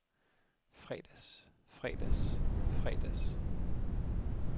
fredags fredags fredags